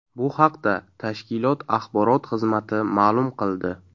Bu haqda tashkilot axborot xizmati ma’lum qildi .